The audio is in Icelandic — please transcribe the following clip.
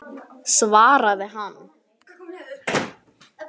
svaraði hann.